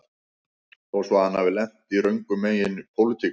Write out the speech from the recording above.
Þó svo að hann hafi lent röngum megin í pólitík